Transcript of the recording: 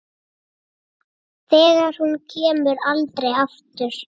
Þegar hún kemur aldrei aftur.